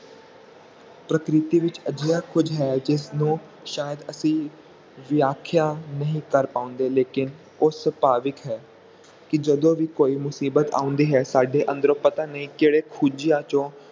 ਪ੍ਰਕ੍ਰਿਤੀ ਵਿਚ ਅਜਿਹਾ ਕੁਛ ਹੈ ਜਿਸ ਨੂੰ ਸ਼ਇਦ ਅਸਲੀ ਵ੍ਯਅਖੇਆ ਨਹੀਂ ਕਰ ਪਾਉਂਦੇ ਪਰ ਉਹ ਸੁਭਾਵਿਕ ਹੈ ਕਿ ਜਦੋ ਵੀ ਕੋਈ ਮੁਸੀਬਤ ਆਉਂਦੀ ਹੈ ਸਾਡੇ ਅੰਦਰੋਂ ਪਤਾ ਨਹੀਂ ਕਹਿੰਦੇ ਖੂਜੇਆਂ ਚੋ